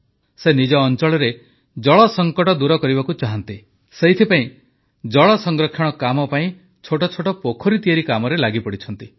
ସେ ନିଜ ଅଂଚଳରେ ଜଳସଙ୍କଟ ଦୂର କରିବାକୁ ଚାହାନ୍ତି ସେଥିପାଇଁ ଜଳସଂରକ୍ଷଣ କାମ ପାଇଁ ଛୋଟଛୋଟ ପୋଖରୀ ତିଆରି କାମରେ ଲାଗିପଡ଼ିଛନ୍ତି